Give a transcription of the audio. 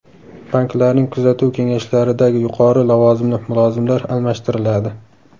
Banklarning kuzatuv kengashlaridagi yuqori lavozimli mulozimlar almashtiriladi.